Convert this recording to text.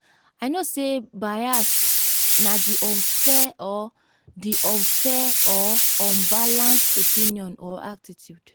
i know say bias na di unfair or di unfair or unbalanced opinion or attitude.